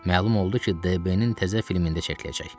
Məlum oldu ki, DB-nin təzə filmində çəkiləcək.